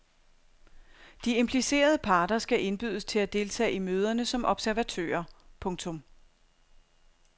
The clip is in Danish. De implicerede parter skal indbydes til at deltage i møderne som observatører. punktum